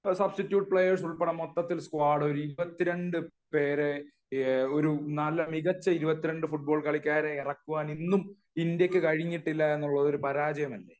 substitute players ഉൾപ്പെടെ മൊത്തത്തിൽ ഇരുപത്തിരണ്ടു പേരെ ഒരു നല്ല മികച്ച ഇരുപത്തിരണ്ടു ഫുട്ബോൾ കളിക്കാരെ ഇറക്കാൻ ഇന്ത്യക്കു കഴിഞ്ഞിട്ടില്ല എന്നുള്ളത് ഒരു പരാജയമല്ലേ